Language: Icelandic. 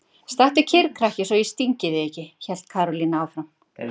Stattu kyrr krakki svo ég stingi þig ekki! hélt Karólína áfram.